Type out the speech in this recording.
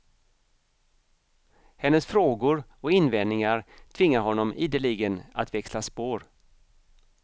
Hennes frågor och invändningar tvingar honom ideligen att växla spår.